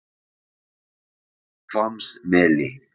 Hvammsmeli